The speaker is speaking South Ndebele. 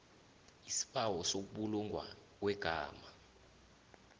isibawo sokubulungwa kwegama